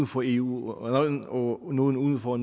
for eu og nogle uden for og